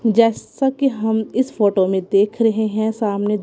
जैसा कि हम इस फोटो में देख रहे हैं सामने--